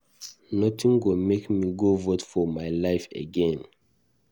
Nothing go make me go vote for my life again.